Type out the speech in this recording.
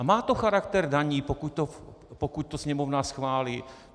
A má to charakter daní, pokud to Sněmovna schválí.